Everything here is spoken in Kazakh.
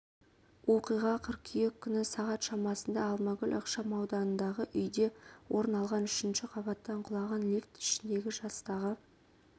оқиға қыркүйек күні сағат шамасында алмагүл ықшамауданындағы үйде орын алған үшінші қабаттан құлаған лифт ішіндегі жастағы